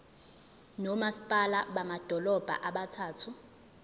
nomasipala bamadolobha abathathu